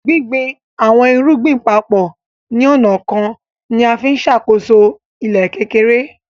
Gbìngbìn awọn èrùgbìn papọ ni onà kan nià ǹfi ǹṣákóso ilẹ̀ kékèrè.